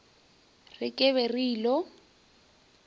re ke be ke ilo